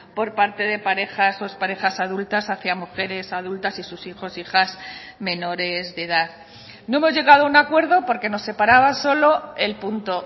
por parte de parejas o exparejas adultas hacia mujeres adultas y sus hijos e hijas menores de edad no hemos llegado a un acuerdo porque nos separaba solo el punto